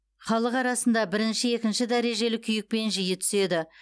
халық арасында бірінші екінші дәрежелі күйікпен жиі түседі